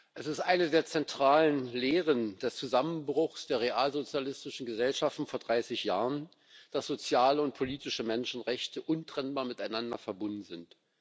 Es ist eine der zentralen Lehren des Zusammenbruchs der realsozialistischen Gesellschaften vor 30 Jahren, dass soziale und politische Menschenrechte untrennbar miteinander verbunden sind.